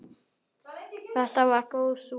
Þetta var góð súpa.